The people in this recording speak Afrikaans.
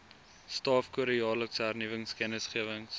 staafkode jaarlikse hernuwingskennisgewings